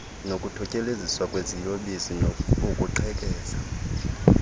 nokuthutyeleziswa kweziyobisi ukuqhekeza